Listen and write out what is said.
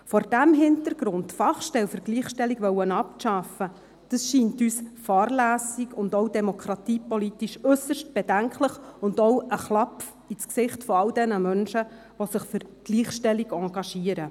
Vor diesem Hintergrund die Fachstellung für Gleichstellung abschaffen zu wollen, scheint uns fahrlässig und demokratiepolitisch äusserst bedenklich, aber auch ein Schlag ins Gesicht all jener Menschen, die sich für die Gleichstellung engagieren.